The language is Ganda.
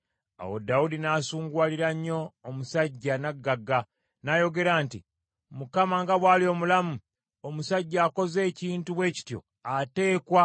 Awo Dawudi n’asunguwalira nnyo omusajja nnaggagga, n’ayogera nti, “ Mukama nga bw’ali omulamu, omusajja akoze ekintu bwe kityo ateekwa